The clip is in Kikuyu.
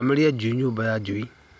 Thamĩria njui nyũmba-inĩ ya njui